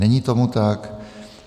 Není tomu tak.